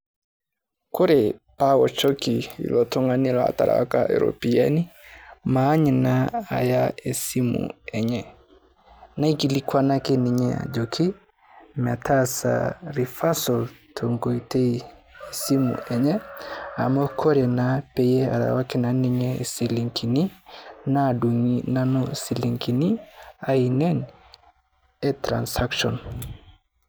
Kore aochoki oltung'ani laaterewuaki ropiani maany naa ayaa e simu enye. Naikilikwanaki ninye ajo metaasa reversal to nkotei e simu enye amu kore naa pee airuaki ninye silingini maadung'i nanu silingini ainenen e transcation.